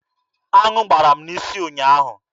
Aṅụ gbara m n'isi ụnyaahụ.